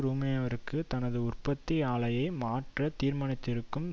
ருமேனியாவிற்கு தனது உற்பத்தி ஆலையை மாற்றத் தீர்மானித்திருக்கும்